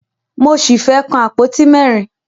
Mo ṣì fẹ́ kàn àpótí mẹ́rin.